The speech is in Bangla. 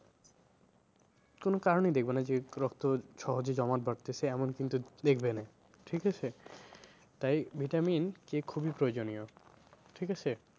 কোনো কারণেই দেখবে না যে রক্ত সহজে জমাট বাঁধতেছে এমন কিন্তু দেখবে না ঠিক আছে? তাই vitamin যে খুবই প্রয়োজনীয় ঠিক আছে?